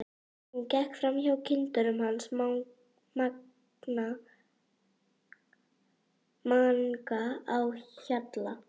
Hún gekk fram hjá kindunum hans Manga á Hjalla.